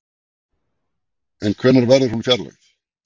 En hvenær verður hún fjarlægð?